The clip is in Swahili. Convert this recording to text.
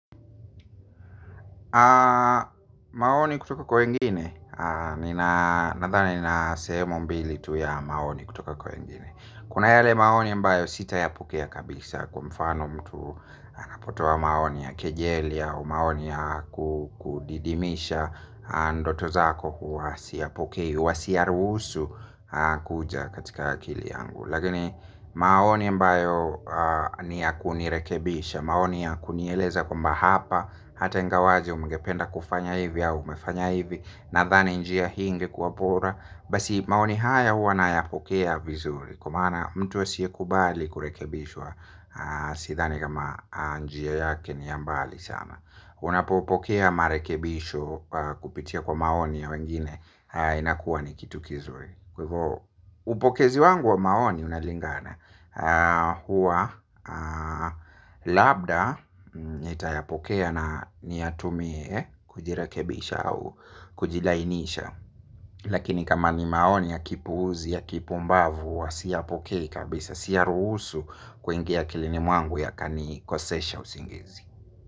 Maoni kutoka kwa wengini, nathani na sehemu mbili tu ya maoni kutoka kwengini kuna yale maoni mbayo sitayapokea kabisa kqa mfano mtu anapotoa maoni ya kejelia. Maoni ya kudidimisha ndoto zako huwa siyapokei, huwa siyaruhusu kuja katika akili yangu. Lakini maoni mbayo ni ya kunirekebisha, maoni ya kunieleza kwamba hapa hata ingawaje umgependa kufanya hivi ya umefanya hivi. Nadhani njia hii ingekuwa bora. Basi maoni haya hua na yapokea vizuri. Kwa maana mtu asiye kubali kurekebishwa sithani kama njia yake ni ya mbali sama. Unapopokea marekebisho kupitia kwa maoni ya wengine. Haa inakuwa ni kitu kizuri. Kwa ivo upokezi wangu wa maoni unalingana. Huwa labda nitayapokea na niyatumie kujirekebisha au kujilainisha. Lakini kama ni maoni ya kipuuzi ya kipumbavu wa siyapokei kabisa. Siyaruhusu kuingia akilini mwangu yakanikosesha usingizi.